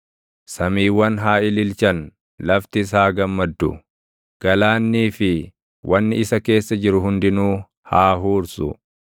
Samiiwwan haa ililchan; laftis haa gammaddu; galaannii fi wanni isa keessa jiru hundinuu haa huursu.